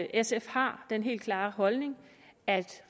sf har den helt klare holdning at